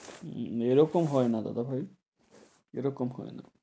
উম উম এরকম হয়না দাদা ভাই, এরকম হয়না।